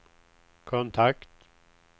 kontakt